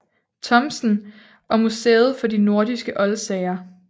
Thomsen og Museet for de nordiske oldsager